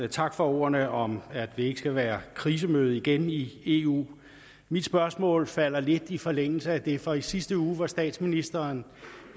og tak for ordene om at ikke skal være krisemøde igen i eu mit spørgsmål falder lidt i forlængelse af det for i sidste uge var statsministeren